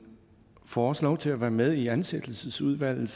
får også lov til at være med i ansættelsesudvalget